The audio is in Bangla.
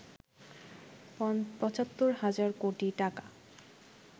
৭৫ হাজার কোটি টাকা